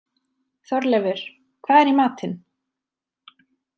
Þorleifur, hvað er í matinn?